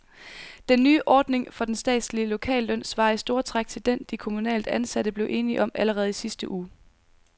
Den nye ordning for den statslige lokalløn svarer i store træk til den, de kommunalt ansatte blev enige om allerede i sidste uge.